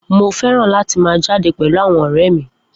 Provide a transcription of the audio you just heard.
Mo fẹ́ràn láti máa jáde pẹ̀lú àwọn ọ̀rẹ́ mi